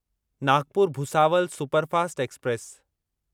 Nagpur Bhusawal superfast express